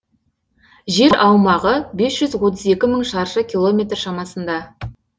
жер аумағы бес жүз отыз екі мың шаршы километр шамасында